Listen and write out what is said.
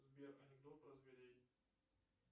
сбер анекдот про зверей